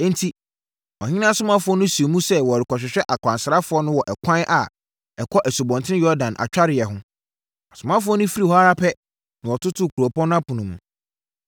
Enti, ɔhene asomafoɔ no sii mu sɛ wɔrekɔhwehwɛ akwansrafoɔ no wɔ ɛkwan a ɛkɔ Asubɔnten Yordan atwareeɛ hɔ. Asomafoɔ no firii hɔ ara pɛ na wɔtotoo kuropɔn no apono mu.